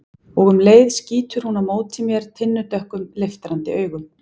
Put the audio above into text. Og um leið skýtur hún á móti mér tinnudökkum, leiftrandi augum.